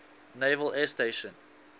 naval air station